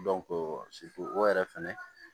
o yɛrɛ fɛnɛ